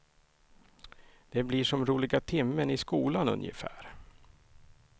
Det blir som roliga timmen i skolan ungefär.